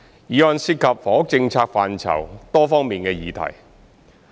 議案涉及房屋政策範疇多方面的議題。